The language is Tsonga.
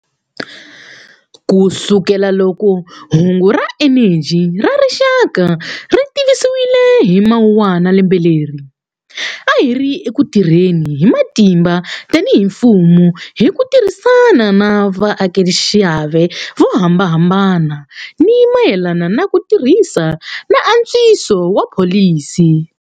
Kusukelaloko hungu ra eneji ra rixaka ri tivisiwile hi Mawuwana lembe leri, a hi ri eku tirheni hi matimba tanihi mfumo hi ku tirhisana na vatekaxiave vo hambanahambana hi mayelana na ku tirhisa na antswiso wa pholisi.